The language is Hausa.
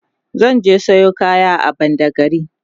zan je Sayo kaya a badagry